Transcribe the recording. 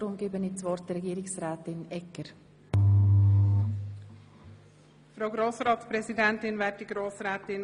Deshalb übergebe ich Frau Regierungsrätin Egger das Wort.